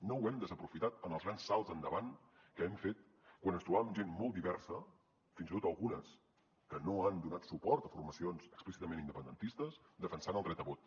no ho hem desaprofitat en els grans salts endavant que hem fet quan ens trobàvem gent molt diversa fins i tot algunes que no han donat suport a formacions explícitament independentistes defensant el dret a vot